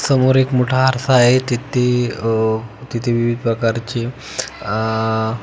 समोर एक मोठा आरसा आहे तिथे अह तिथे विविध प्रकारचे अ--